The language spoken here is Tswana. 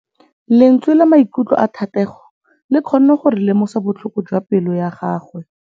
Lentswe la maikutlo a Thategô le kgonne gore re lemosa botlhoko jwa pelô ya gagwe.